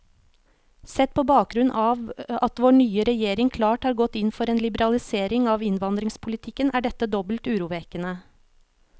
Sett på bakgrunn av at vår nye regjering klart har gått inn for en liberalisering av innvandringspolitikken, er dette dobbelt urovekkende.